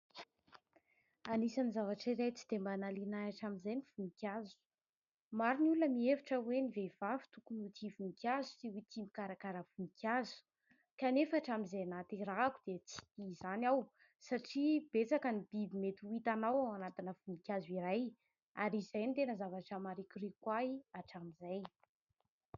Anisan'ny zavatra iray tsy dia mba nahaliana ahy hatramin'izay ny voninkazo. Maro ny olona mihevitra hoe ny vehivavy tokony ho tia voninkazo sy ho tia mikarakara voninkazo. Kanefa hatramin'izay nahaterahako dia tsy tia izany aho satria betsaka ny biby mety ho hitanao ao anatina voninkazo iray ary izay ny tena zavatra marikoriko ahy hatramin'izay.